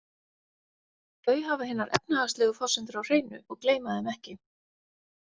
Þau hafa hinar efnahagslegu forsendur á hreinu og gleyma þeim ekki.